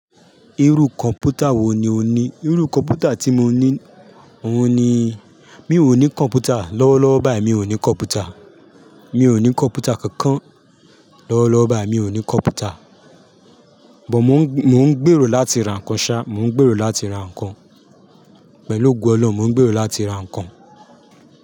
Irú kọ̀mpútà wò ní o ní? Irú kọ̀mpútà tí mo ní òun ni, mi ò ní kọ̀mpútà, lọ́wọ́lọ́wọ́ báyìí mi ò ní kọ̀mpútà. Mi ò ní kọ̀mpútà kankan, lọ́wọ́lọ́wọ́ báyìí mi ò ní kọ̀mpútà. Bọ̀ mo ń, mo ń gbèrò láti ra nǹkan sá, mo ń gbèrò láti ra nǹkan. Pẹ̀lú ògo Ọlọ́run mo ń gbèrò láti ra nǹkan.